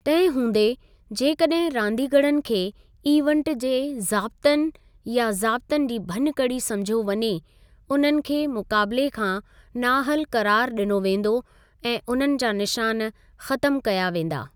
तंहिं हूंदे, जेकॾहिं रांदीगरनि खे इवेन्ट जे ज़ाब्तनि या ज़ाब्तनि जी भञुकड़ी समुझियो वञे, उन्हनि खे मुक़ाबिले खां नाअहल क़रारु ॾिनो वेंदो ऐं उन्हनि जा निशान ख़तमु कया वेंदा।